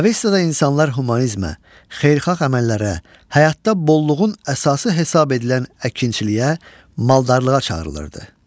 Avestada insanlar humanizmə, xeyirxah əməllərə, həyatda bolluğun əsası hesab edilən əkinçiliyə, maldarlığa çağırılırdı.